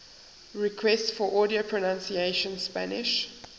requests for audio pronunciation spanish